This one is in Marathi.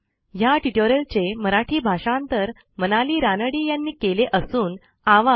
ह्या ट्युटोरियलचे मराठी भाषांतर मनाली रानडे यांनी केलेले असून आवाज